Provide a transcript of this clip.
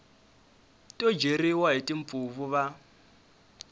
to dyeriwa hi timpfuvu va